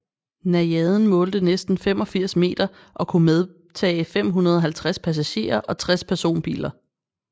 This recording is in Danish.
Najaden målte næsten 85 meter og kunne medtage 550 passagerer og 60 personbiler